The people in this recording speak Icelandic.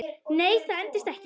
Nei, það endist ekki.